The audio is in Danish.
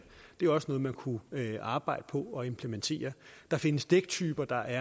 det er også noget man kunne arbejde på at implementere der findes dæktyper der